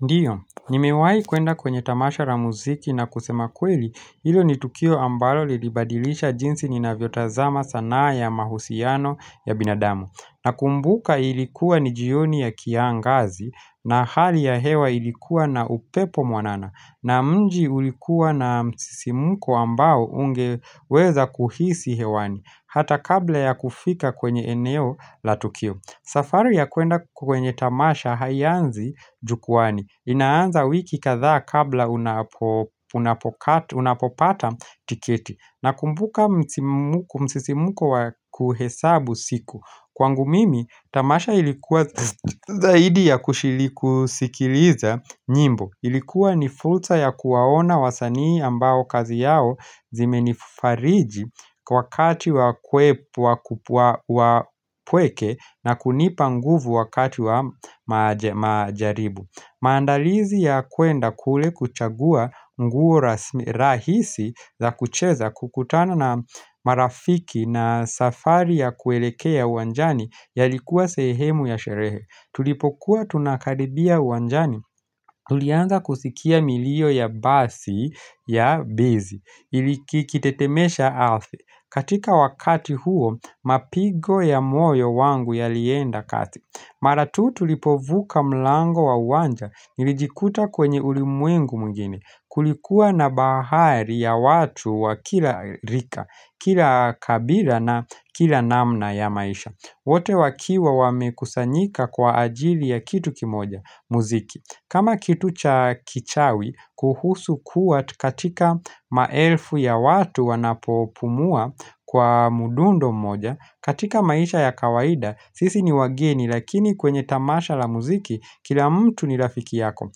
Ndiyo, nimewayi kuenda kwenye tamasha ra muziki na kusema kweli, ilo ni Tukio ambalo lilibadilisha jinsi ni na vyotazama sana ya mahusiano ya binadamu. Na kumbuka ilikuwa ni jioni ya kiangazi na hali ya hewa ilikuwa na upepo mwanana na mji ulikuwa na msisimuko ambao ungeweza kuhisi hewani hata kabla ya kufika kwenye eneo la Tukio. Safari ya kwenda kwenye Tamasha hayanzi jukuwani inaanza wiki katha kabla unapopata tiketi Nakumbuka msisimuko kuhesabu siku Kwangu mimi Tamasha ilikuwa zaidi ya kushiliku sikiliza nyimbo Ilikuwa ni fursa ya kuwaona wasanii ambao kazi yao zimenifariji kwa kati wa kweke na kunipa nguvu wakati wa majaribu. Maandalizi ya kwenda kule kuchagua mguo rahisi za kucheza kukutana na marafiki na safari ya kuelekea uanjani ya likuwa sehemu ya sherehe. Tulipokuwa tunakaribia uanjani. Tulianza kusikia milio ya basi ya bizi. Iliki kitetemesha alfi. Katika wakati huo, mapigo ya moyo wangu yalienda kasi. Mara tu tulipovuka mlango wa wanja nilijikuta kwenye ulimwengu mgini. Kulikuwa na bahari ya watu wa kila rika, kila kabila na kila namna ya maisha. Wote wakiwa wamekusanyika kwa ajili ya kitu kimoja muziki kama kitu cha kichawi kuhusu kua katika maelfu ya watu wanapopumua kwa mudundo moja katika maisha ya kawaida sisi ni wageni lakini kwenye tamasha la muziki kila mtu ni rafiki yako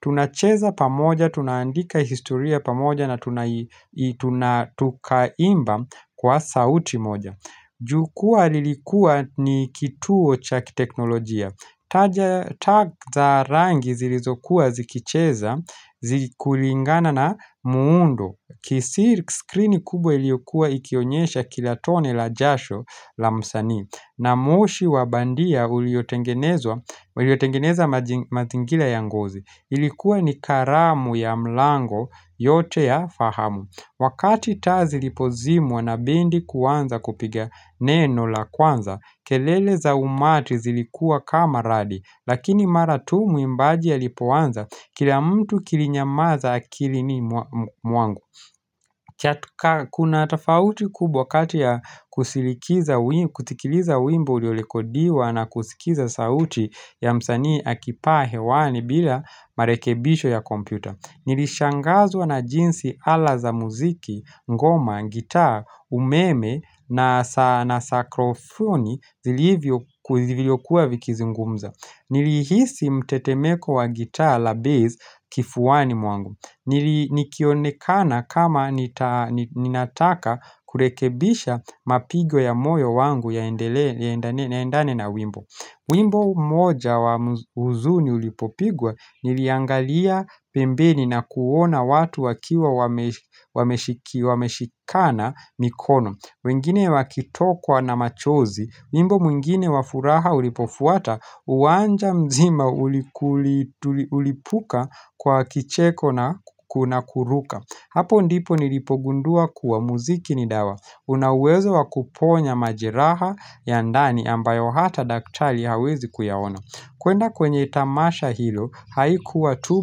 Tunacheza pamoja tunaandika historia pamoja na tukaimba kwa sauti moja Jukua lilikuwa ni kituo cha kiteknolojia. Tag za rangi zilizokuwa zikicheza, zikulingana na muundo. Kisi screen kubwa ilikuwa ikionyesha kilatone la jasho la msani. Na moshi wabandia uliotengeneza mazingira ya ngozi. Ilikuwa ni karamu ya mlango yote ya fahamu. Wakati taa lipozimwa wanabendi kuanza kupiga neno la kwanza, kelele za umati zilikua kama radi, lakini mara tu mwimbajia lipoanza kila mtu kilinyamaza akili ni mwangu. Kuna atafauti kubwa wakati ya kutikiliza wimbo uliolekodiwa na kusikiza sauti ya msanii akipaa hewani bila marekebisho ya kompyuta. Nilishangazwa na jinsi ala za muziki, ngoma, gitaa, umeme na sakrofoni zili hivyo kuwa vikizi ngumza Nilihisi mtetemeko wa gitaa la bass kifuwa ni mwangu Nilikionekana kama ninataka kurekebisha mapigyo ya moyo wangu ya endane na wimbo Mwimbo moja wa uzuni ulipopigwa niliangalia pembeni na kuona watu wakiwa wameshikana mikono mwingine wakitokwa na machozi, mwimbo mwingine wafuraha ulipofuata uwanja mzima ulipuka kwa kicheko na kuruka Hapo ndipo nilipogundua kuwa muziki ni dawa. Unawezo wakuponya majiraha ya ndani ambayo hata daktali hawezi kuyaona. Kwenda kwenye tamasha hilo, haikuwa tu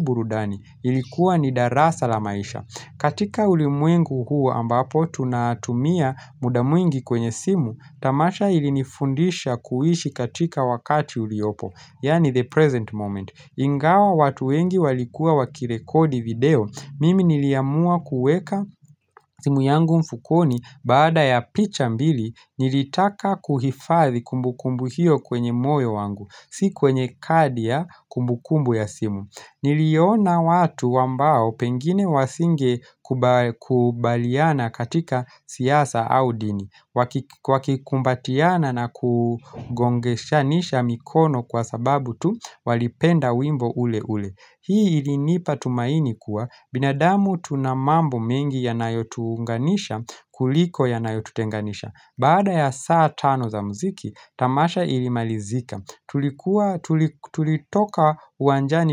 burudani. Ilikuwa ni darasa la maisha. Katika ulimwengu huu ambapo tunatumia muda mwingi kwenye simu, tamasha ilinifundisha kuishi katika wakati uliopo, yani the present moment. Ingawa watu wengi walikua wakirekodi video, mimi niliyamua kueka simu yangu mfukoni baada ya picha mbili nilitaka kuhifari kumbukumbu hiyo kwenye moyo wangu, si kwenye kadia kumbukumbu ya simu. Niliona watu wambao pengine wasinge kubaliana katika siyasa au dini Wakikumbatiana na kugongesha nesha mikono kwa sababu tu walipenda wimbo ule ule Hii ilinipa tumaini kuwa binadamu tunamambo mengi ya nayotuunganisha kuliko ya nayotutenganisha. Baada ya saa tano za mziki tamasha ilimalizika Tulitoka wanjani.